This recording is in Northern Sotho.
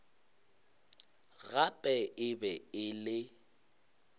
gape e be e le